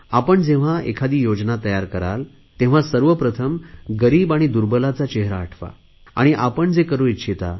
आपण जेव्हा एखादी योजना तयार कराल तेव्हा सर्वप्रथम गरीब आणि दुर्बलांचा चेहरा आठवा आणि आपण जे करु इच्छिता